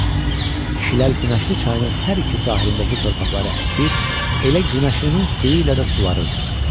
Kişilər günəşli çayının hər iki sahilindəki torpaqları əkir, elə günəşlinin suyu ilə də suvarırdılar.